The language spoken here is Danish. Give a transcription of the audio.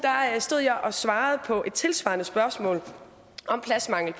stod jeg og svarede på et tilsvarende spørgsmål om pladsmangel